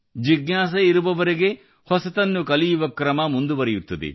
ಜಿಜ್ಞಾಸೆಯಿರುವವರೆಗೆ ಹೊಸತನ್ನು ಕಲಿಯುವ ಕ್ರಮ ಮುಂದುವರಿಯುತ್ತದೆ